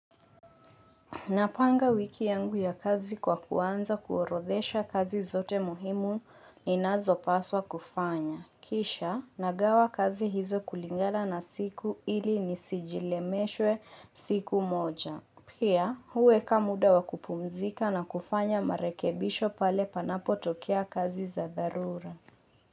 Napanga wiki yangu ya kazi kwa kuanza kuorodhesha kazi zote muhimu ninazo paswa kufanya. Kisha, nagawa kazi hizo kulingana na siku ili nisijilemeshwe siku moja. Pia, huweka muda wa kupumzika na kufanya marekebisho pale panapo tokea kazi za dharura.